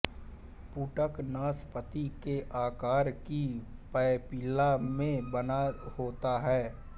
पुटक नासपाती के आकार की पैपिला में बना होता है